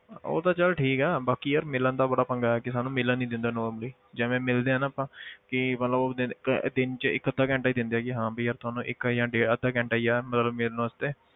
ਉਹ ਤਾਂ ਚੱਲ ਠੀਕ ਹੈ ਬਾਕੀ ਯਾਰ ਮਿਲਣ ਦਾ ਬੜਾ ਪੰਗਾ ਹੈ ਕਿ ਸਾਨੂੰ ਮਿਲਣ ਨੀ ਦਿੰਦੇ normally ਜਿਵੇਂ ਮਿਲਦੇ ਆਂ ਨਾ ਆਪਾਂ ਕਿ ਮਤਲਬ ਉਹ ਦਿਨ ਇੱਕ ਦਿਨ 'ਚ ਇੱਕ ਅੱਧਾ ਘੰਟਾ ਹੀ ਦਿੰਦੇ ਆ ਕਿ ਹਾਂ ਵੀ ਯਾਰ ਤੁਹਾਨੂੰ ਇੱਕ ਜਾਂ ਡੇ~ ਅੱਧਾ ਘੰਟਾ ਹੀ ਆ, ਮਤਲਬ ਮਿਲਣ ਵਾਸਤੇ।